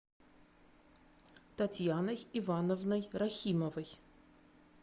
татьяной ивановной рахимовой